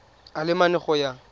a le mane go ya